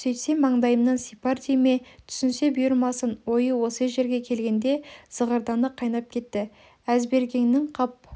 сөйтсем мандайымнан сипар дей ме түсінсе бұйырмасын ойы осы жерге келгенде зығырданы қайнап кетті әзбергеннің қап